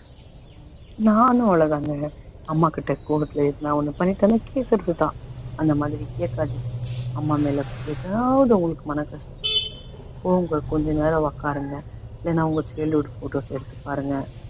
அமாகிட்ட கோவத்துல நான் ஒண்ணு பண்ணிட்டாலே கேக்கறதுதான் அந்த மாதிரி கேக்காதீங்க அம்மா மேல எதாவது உங்களுக்கு மனக்கஷ்டம் இருந்த கோவங்கல் கொஞ்ச நேரம் உக்காருங்க வேணா அவங்க சேர்ந்து எடுத்த photos எடுத்துப் பாருங்க